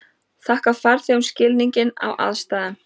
Þakka farþegum skilning á aðstæðum